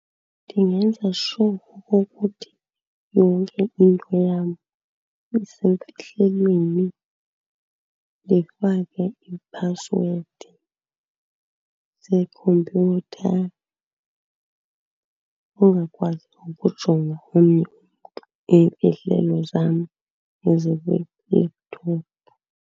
Ndingenza sure okokuthi yonke into yam isemfihlelweni. Ndifakwe iiphasiwedi zeekhompyutha, angakwazi ukujonga omnye umntu iimfihlelo zam ezikwi-laptop.